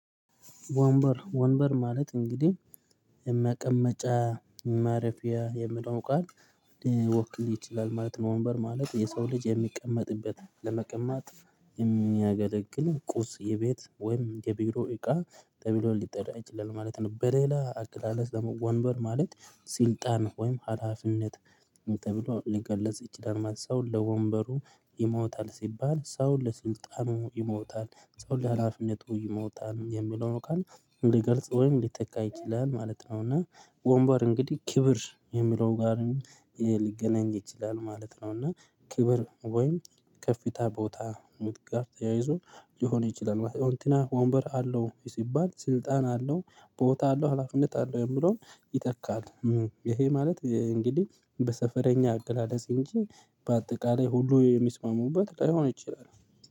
ወንበር ወንበር ማለት እንግዲህ የመቀመጫ ማረፊያ የሚለው ቃል ሊወክል ይችላል ማለት ነው። ወንበር ማለት የሰው ልጅ የሚቀመጥበት ለመቀማጥ የሚያገለግል ቁስ የቤት ወይም የቢሮ እቃ ተብሎ ሊጠራ ይችላል ማለት ነው። በሌላ አገላለጽ ወንበር ማለት ስልጣን ወይም ሀላፊነት ተብሎ ሊገለጽ ይችላል። ሰው ለወንበሩ ይሞታል ሲባል ሰው ለስልጣኑ ይሞታል ሰው ለሀላፊነቱ ይሞታል የሚለው ነው ካልን ሊገልጽ ወይም ሊተካ ይችላል ማለት ነው። እና ወንባር እንግዲህ ክብር የሚለው ጋር ሊገናኝ ይችላል ማለት ነው። እና ክብር ወይም ከፍታ ቦታ ጋር ተያይዞ ሊሆን ይችላል። እንትና ወንበር አለው ሲባል ስልጣን አለው ቦታ አለው ሀላፊነት አለው የሚለውን ይጠቃል ይሄ ማለት እንግዲህ በሰፈረኛ አገላለጽ እንጂ በአጠቃላይ ሁሉ የሚስማሙበት ላይሆን ይችላል